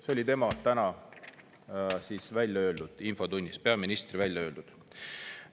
" See oli täna infotunnis peaministri välja öeldud.